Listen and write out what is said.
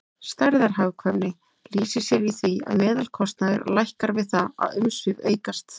Stærðarhagkvæmni lýsir sér í því að meðalkostnaður lækkar við það að umsvif aukast.